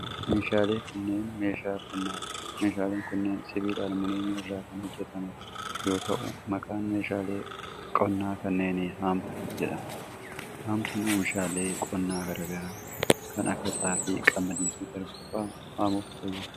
Meeshaaleen kunneen meeshaalee qonnaa dha. Meeshaaleen kunneen sibiila aluuminiyamii irraa kan hojjataman yoo ta'u, maqaan meeshaalee qonnaa kanneenii haamtuu jedhama. Haamtuun oomishaalee qonnaa garaa garaa kan akka xaafii, qamadii fi garbuu faa hamuuf fayyada.